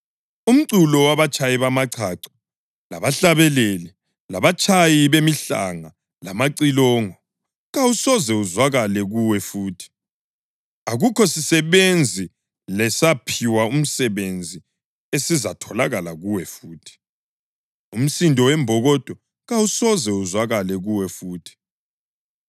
Umculo wabatshayi bamachacho labahlabeleli labatshayi bemihlanga lamacilongo, kawusoze uzwakale kuwe futhi. Akukho sisebenzi lesawuphi umsebenzi esizatholakala kuwe futhi. Umsindo wembokodo kawusoze uzwakale kuwe futhi.